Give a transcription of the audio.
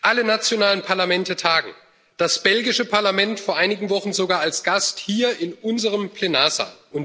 Alle nationalen Parlamente tagen, das belgische Parlament vor einigen Wochen sogar als Gast hier in unserem Plenarsaal.